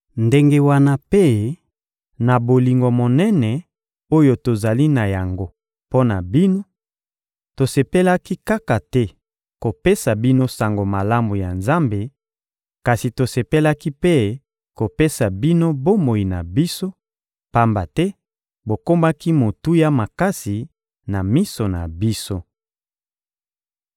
ndenge wana mpe, na bolingo monene oyo tozali na yango mpo na bino, tosepelaki kaka te kopesa bino Sango Malamu ya Nzambe, kasi tosepelaki mpe kopesa bino bomoi na biso, pamba te bokomaki motuya makasi na miso na biso.